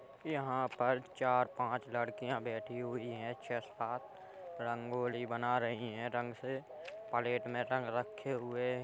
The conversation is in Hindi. यहाँ पर चार पांच लड़कियां बैठी हुई हैं। पर रंगोली बना रही हैं रंग से प्लेट में रंग रखे हुए।